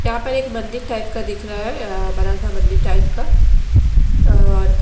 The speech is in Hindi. यहां पर एक मंदिर टाइप का दिख रहा है बरा सा मंदिर टाइप का और--